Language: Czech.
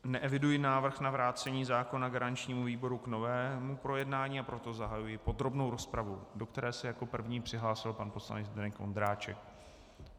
Neeviduji návrh na vrácení zákona garančnímu výboru k novému projednání, a proto zahajuji podrobnou rozpravu, do které se jako první přihlásil pan poslanec Zdeněk Ondráček.